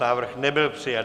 Návrh nebyl přijat.